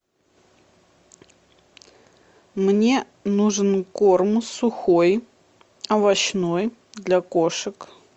мне нужен корм сухой овощной для кошек